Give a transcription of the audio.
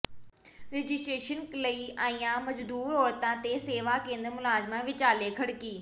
registration ਲਈ ਆਈਆਂ ਮਜ਼ਦੂਰ ਔਰਤਾਂ ਤੇ ਸੇਵਾ ਕੇਂਦਰ ਮੁਲਾਜ਼ਮਾਂ ਵਿਚਾਲੇ ਖੜਕੀ